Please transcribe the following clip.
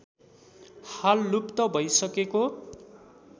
हाल लुप्त भैसकेको